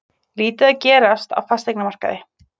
Lítið að gerast á fasteignamarkaði